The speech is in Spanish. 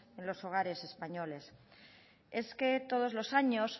en los hogares españoles es que todos los años